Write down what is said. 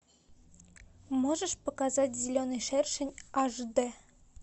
можешь показать зеленый шершень аш д